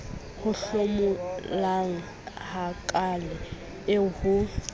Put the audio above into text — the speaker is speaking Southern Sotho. o hlomolang hakaale eo ho